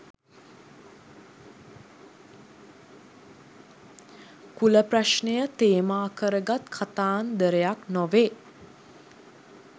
කුල ප්‍රශ්නය තේමා කරගත් කතාන්දරයක් නොවේ.